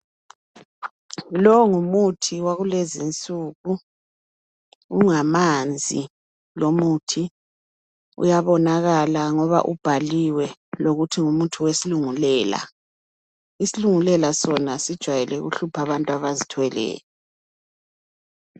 Lowu ngumuthi wakulezinsuku ungamanzi lomuthi uyabonakala ngoba ubhaliwe lokuthi ngumuthi wesilungulela. Isilungulela sona sijayele ukuhlupha abantu abazithweleyo.